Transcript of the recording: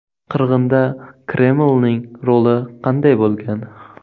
Qirg‘inda Kremlning roli qanday bo‘lgan?.